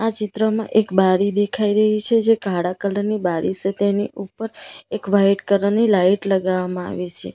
ચિત્રમાં એક બારી દેખાઈ રહી સે જે કાળા કલર ની બારી સે તેની ઉપર એક વ્હાઈટ કલર ની લાઈટ લગાવવામાં આવી સે.